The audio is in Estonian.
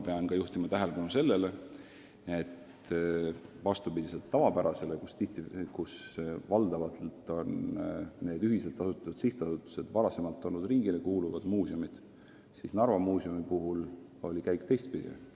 Pean ka juhtima tähelepanu sellele, et kui pea kõik sellised ühiselt asutatud sihtasutused olid varem riigile kuuluvad muuseumid, siis Narva Muuseumi puhul on asjade käik teistpidi olnud.